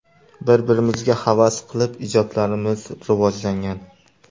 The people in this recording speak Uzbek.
Bir-birimizga havas qilib ijodlarimiz rivojlangan.